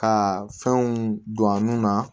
Ka fɛnw don a nun na